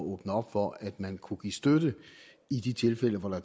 åbne op for at man kunne give støtte i de tilfælde hvor der